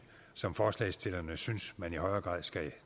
som forslagsstillerne synes man i højere grad skal